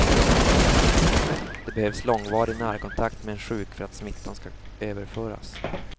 Det behövs långvarig närkontakt med en sjuk för att smittan skall överföras.